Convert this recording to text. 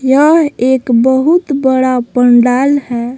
यह एक बहुत बड़ा पंडाल है।